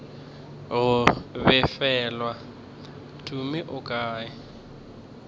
go befelwa tumi o kae